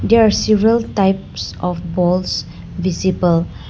There are several types of balls visible.